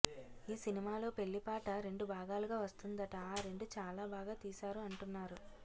ఈ సినిమా లో పెళ్లి పాట రెండు భాగాలుగా వస్తుందట ఆ రెండూ చాలా బాగా తీసారు అంటున్నారు